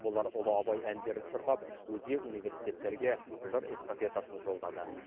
олар ұлы абай әндерін шырқап өзге университеттерге жыр эстафетасын жолдады